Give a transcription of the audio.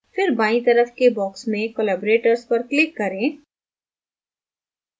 फिर बायीं तरफ के box में collaborators पर click करें